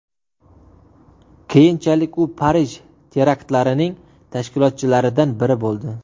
Keyinchalik u Parij teraktlarining tashkilotchilaridan biri bo‘ldi.